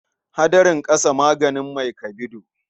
Hadarin ƙasa maganin mai kabido.